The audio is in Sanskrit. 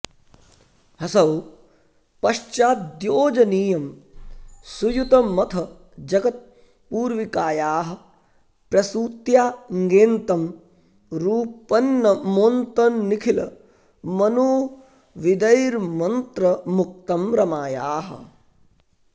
ह्सौः पश्चाद्योजनीयं सुयुतमथ जगत्पूर्विकायाः प्रसूत्या ङेन्तं रूपन्नमोन्तन्निखिलमनुविदैर्मन्त्रमुक्तं रमायाः